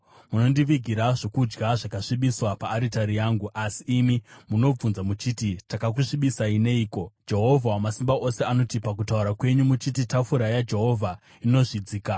“Munondivigira zvokudya zvakasvibiswa paaritari yangu. “Asi imi munobvunza muchiti, ‘Takakusvibisai neiko?’ ” Jehovha Wamasimba Ose anoti, “Pakutaura kwenyu muchiti tafura yaJehovha inozvidzika.